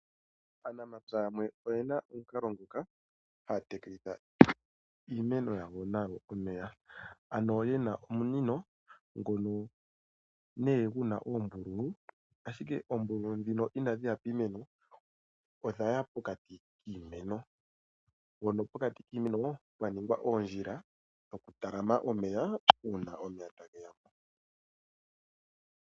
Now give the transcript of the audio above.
Aanamapya yamwe oyena omukalo ngoka haya tekelitha nago iimeno yawo omeya, ano ye na omunino ngono nee gu na oombululu ashike oombululu ndhino inadhiya piimeno odha ya pokati kiimeno, mpono pokati kiimeno pwa ningwa oondjila dhokutalama omeya uuna omeya taga ende.